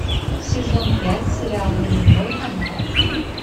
сезон пять сериал нулевой канал